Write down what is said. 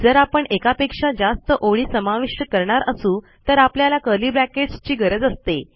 जर आपण एकापेक्षा जास्त ओळी समाविष्ट करणार असू तर आपल्याला कर्ली ब्रॅकेट्स ची गरज असते